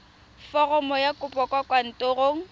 foromo ya kopo kwa kantorong